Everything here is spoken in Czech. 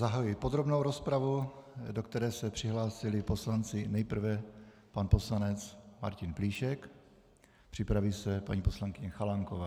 Zahajuji podrobnou rozpravu, do které se přihlásili poslanci - nejprve pan poslanec Martin Plíšek, připraví se paní poslankyně Chalánková.